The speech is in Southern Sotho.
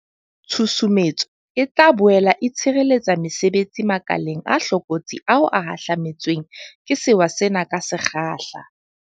Tshusumetso e tla boele e tshireletsa mesebetsi makeleng a hlokolotsi ao a hahlame tsweng ke sewa sena ka se kgahla.